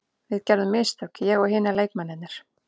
Við gerðum mistök, ég og hinir leikmennirnir.